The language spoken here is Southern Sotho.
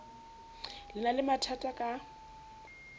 le na le mathatha ka